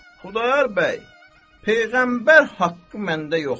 Xudayar bəy, peyğəmbər haqqı məndə yoxdur.